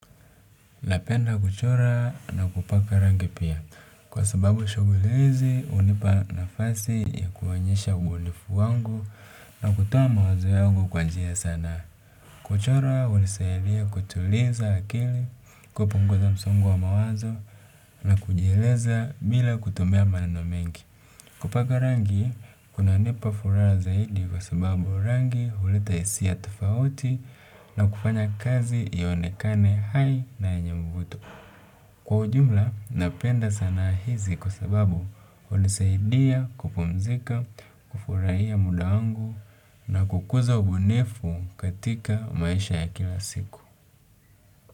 Napenda kuchora na kupaka rangi pia kwa sababu shogulezi hunipa nafasi ya kuwaonyesha ubunifu wangu na kutoa mawazo yangu kwa njia sanaa. Kuchora hunisaidia kutuliza akili kupunguza msongo wa mawazo na kujieleza bila kutumia maneno mengi. Kupaka rangi kunanipa furaha zaidi kwa sababu rangi huleta hisia tofauti na kufanya kazi ionekane hai na yenye mvuto. Kwa ujumla, napenda sanaa hizi kwa sababu hunisaidia kupumzika, kufurahia muda wangu na kukuza ubunifu katika maisha ya kila siku.